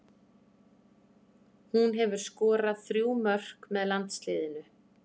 Hún hefur skorað þrjú mörk með landsliðinu.